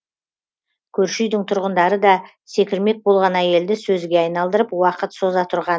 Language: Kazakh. көрші үйдің тұрғындары да секірмек болған әйелді сөзге айналдырып уақыт соза тұрған